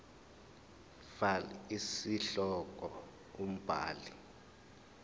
fal isihloko umbhali